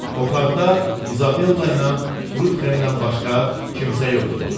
Otaqda İzabella ilə Trutxendən başqa kimsə yox idi.